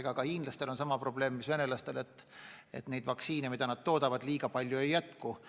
Aga ka hiinlastel on sama probleem, mis venelastel: neid vaktsiine, mida nad toodavad, väga palju ei jätku.